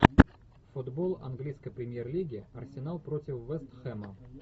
футбол английской премьер лиги арсенал против вест хэма